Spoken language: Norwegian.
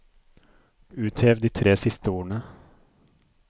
Uthev de tre siste ordene